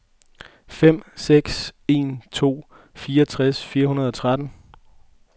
fem seks en to fireogtres fire hundrede og tretten